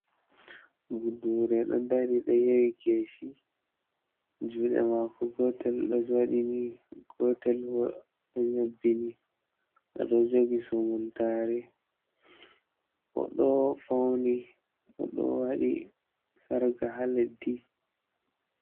Budure ɗo dari ɗo yewi kesi juɗe mako gotel ɗo waɗi ni gotel bo ɗo nyobbi ni, o ɗo jogi sumuntare, o ɗo fauni, o ɗo waɗi sarka ha leddi.